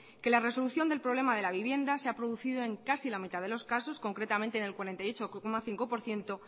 que la resolución del problema de la vivienda se ha producido en casi la mitad de los casos concretamente en el cuarenta y ocho coma cinco por ciento